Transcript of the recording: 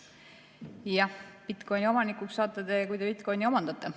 Jah, bitcoin'i omanikuks saate te siis, kui te bitcoin'i omandate.